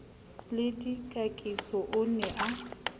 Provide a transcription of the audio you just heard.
le dikakiso o ne a